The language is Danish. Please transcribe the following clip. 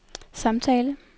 samtale